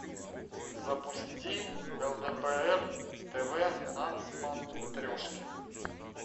запусти лдпр тв на смотрешке